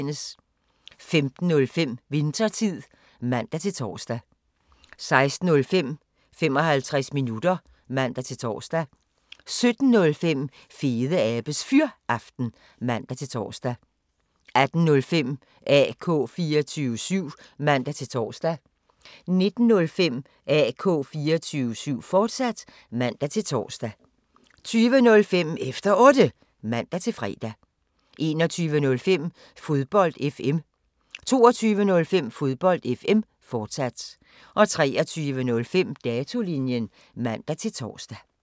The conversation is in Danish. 15:05: Winthertid (man-tor) 16:05: 55 minutter (man-tor) 17:05: Fedeabes Fyraften (man-tor) 18:05: AK 24syv (man-tor) 19:05: AK 24syv, fortsat (man-tor) 20:05: Efter Otte (man-fre) 21:05: Fodbold FM 22:05: Fodbold FM, fortsat 23:05: Datolinjen (man-tor)